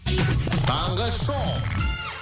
таңғы шоу